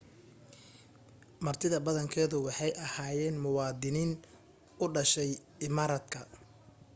martidabadankeedu waxay ahyeenmuwaadiniin u dhashay imaaraadka